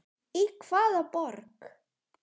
Í hvaða borg?